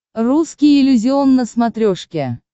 русский иллюзион на смотрешке